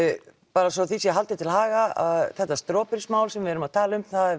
bara svo því sé haldið til haga að þetta Strawberries mál sem við vorum að tala um